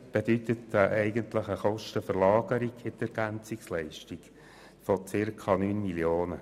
bedeutet er doch eine eigentliche Kostenverlagerung in die EL von rund 9 Mio. Franken.